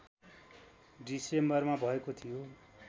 डिसेम्बरमा भएको थियो